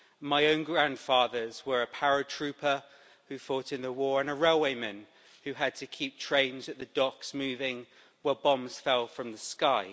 My own grandfathers were a paratrooper who fought in the war and a railwayman who had to keep trains at the docks moving while bombs fell from the sky.